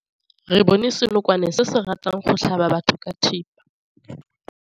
Re bone senokwane se se ratang go tlhaba batho ka thipa.